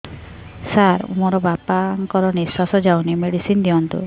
ସାର ମୋର ବାପା ଙ୍କର ନିଃଶ୍ବାସ ଯାଉନି ମେଡିସିନ ଦିଅନ୍ତୁ